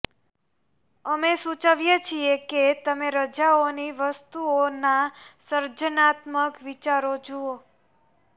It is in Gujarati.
અમે સૂચવીએ છીએ કે તમે રજાઓની વસ્તુઓના સર્જનાત્મક વિચારો જુઓ